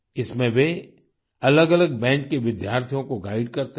इसमें वे अलगअलग बैच के विद्यार्थियों को गाइड करते हैं